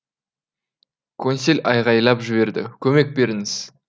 консель айғайлап жіберді көмек беріңіз